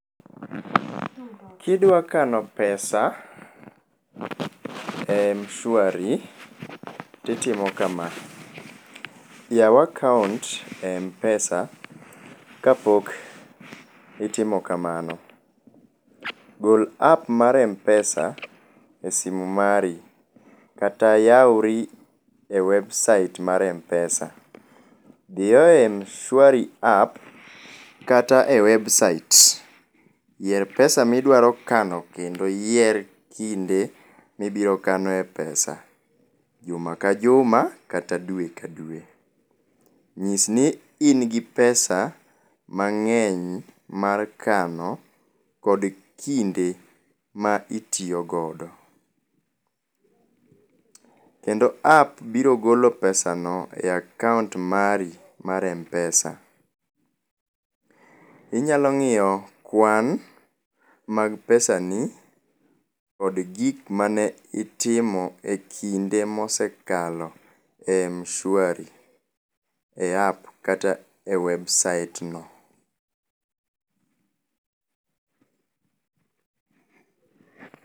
Kidwa kano pesa e Mshwari titimo kama. Yao akaunt e Mpesa kapok itimo kamano, gol app mar Mpesa e simu mari kata yaori e website mar Mpesa. Dhiyo e Mshwari app kata e website, yier pesa midwaro kano kendo iyier kinde mibiro kane pesa, juma ka juma kata dwe ka dwe. Nyisni in gi pesa[sc] mang'eny mar kano kod kinde ma itiyo godo, kendo app biro golo pesa[s] no e akaunt mari mar Mpesa, inyalo ng'iyo kwan mag pesani kod gik mane itimo e kinde mosekalo e Mshwari e app kata e website no